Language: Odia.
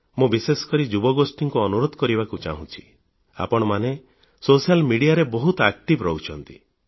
ମୁଁ ବିଶେଷକରି ଯୁବଗୋଷ୍ଠୀକୁ ଅନୁରୋଧ କରିବାକୁ ଚାହୁଁଛି ଆପଣମାନେ ସାମାଜିକ ଗଣମାଧ୍ୟମରେ ବହୁତ ସକ୍ରିୟ ରହୁଛନ୍ତି